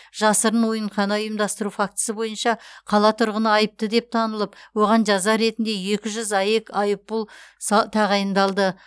жасырын ойынхана ұйымдастыру фактісі бойынша қала тұрғыны айыпты деп танылып оған жаза ретінде екі жүз аек айыппұл са тағайындалды